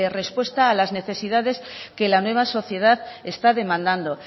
respuesta a las necesidades que la nueva sociedad está demandando